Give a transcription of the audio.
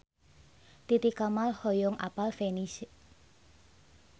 Titi Kamal hoyong apal Venice